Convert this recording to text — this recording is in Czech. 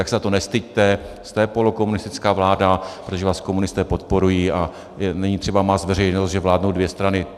Tak se za to nestyďte, jste polokomunistická vláda, protože vás komunisté podporují, a není třeba mást veřejnost, že vládnou dvě strany.